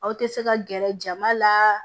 Aw tɛ se ka gɛrɛ jama la